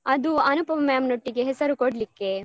ಅದು ಅನುಪಮ ma'am ನೊಟ್ಟಿಗೆ ಹೆಸರು ಕೊಡ್ಲಿಕ್ಕೆ.